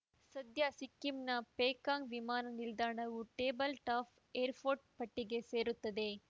ಸದ್ಯ ಸಿಕ್ಕಿಂನ ಪೇಕಾಂಗ್‌ ವಿಮಾನ ನಿಲ್ದಾಣವೂ ಟೇಬಲ್‌ ಟಾಪ್‌ ಏರ್‌ಫೋರ್ಟ್‌ ಪಟ್ಟಿಗೆ ಸೇರುತ್ತದೆ